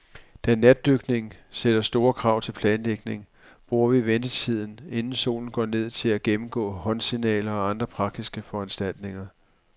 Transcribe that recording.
Da natdykning sætter store krav til planlægning, bruger vi ventetiden, inden solen går ned, til at gennemgå håndsignaler og andre praktiske foranstaltninger.